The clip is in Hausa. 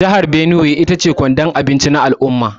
Jihar Benue ita ce kwandon abinci na al’umma.